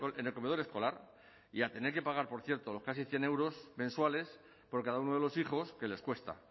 en el comedor escolar y a tener que pagar por cierto los casi cien euros mensuales por cada uno de los hijos que les cuesta